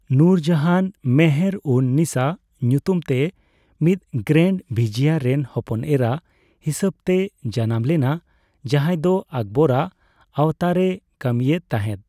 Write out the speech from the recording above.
ᱱᱩᱨᱡᱟᱦᱟᱱ ᱢᱮᱦᱮᱨᱼᱩᱱᱼᱱᱤᱥᱟ ᱧᱩᱛᱩᱢ ᱛᱮ, ᱢᱤᱫ ᱜᱨᱮᱱᱰ ᱵᱷᱤᱡᱤᱭᱟ ᱨᱮᱱ ᱦᱚᱯᱚᱱ ᱮᱨᱟ ᱦᱤᱥᱟᱹᱵᱽᱛᱮᱭ ᱡᱟᱱᱟᱢ ᱞᱮᱱᱟ, ᱡᱟᱦᱟᱸᱭ ᱫᱚ ᱟᱠᱵᱚᱨ ᱟᱜ ᱟᱣᱛᱟᱨᱮᱭ ᱠᱟᱹᱢᱤᱭᱮᱫ ᱛᱟᱦᱮᱸᱫ ᱾